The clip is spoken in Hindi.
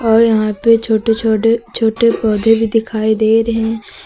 और यहां पे छोटे छोटे छोटे पौधे भी दिखाई दे रहे--